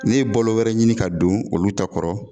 Ne balo wɛrɛ ɲini ka don olu ta kɔrɔ